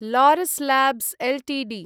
Laurus Labs Ltd